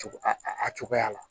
A cogoya la